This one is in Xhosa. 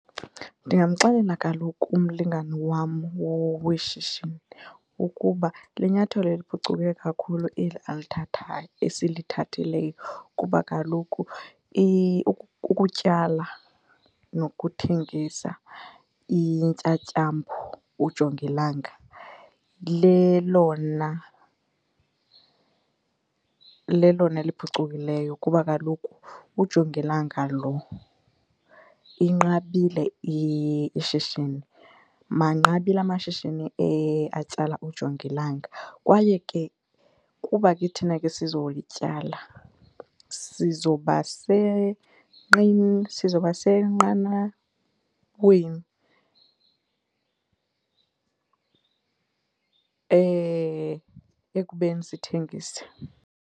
Ndingamxelela kaloku umlingane wam weshishini ukuba linyathelo eliphucukileyo kakhulu eli alithathayo, esilithathileyo kuba kaloku ukutyala nokuthengisa intyatyambo ujongilanga lelona, lelona liphucukileyo. Kuba kaloku ujongilanga lo inqabile ishishini, manqabile amashishini atyala ujongilanga kwaye ke kuba ke thina ke sizowutyala sizoba , sizoba senqanaweni ekubeni sithengise.